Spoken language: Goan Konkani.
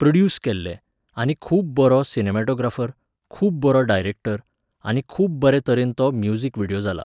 प्रोड्यूस केल्लें, आनी खूब बरो सिनमॅटोग्राफर, खूब बरो डायरेक्टर, आनी खूब बरे तरेन तो म्युझिक विडियो जाला.